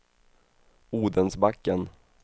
Odensbacken